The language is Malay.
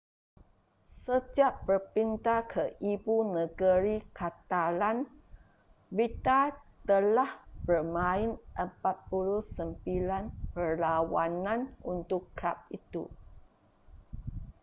sejak berpindah ke ibu negeri catalan vidal telah bermain 49 perlawanan untuk kelab itu